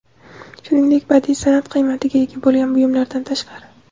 shuningdek badiiy sanʼat qiymatiga ega bo‘lgan buyumlardan tashqari);.